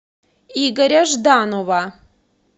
игоря жданова